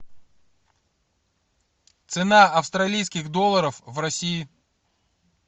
цена австралийских долларов в россии